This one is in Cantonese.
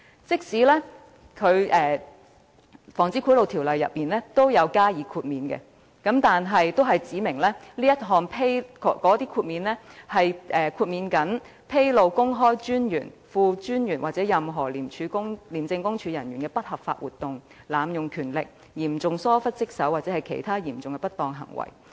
即使《防止賄賂條例》已訂有豁免，但豁免範圍亦僅限於所披露的資料旨在"公開專員、副專員或任何廉政公署人員的不合法活動、濫用權力、嚴重疏於職守或其他嚴重不當行為"。